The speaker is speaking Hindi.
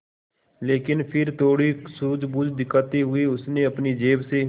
लेकिन फिर थोड़ी सूझबूझ दिखाते हुए उसने अपनी जेब से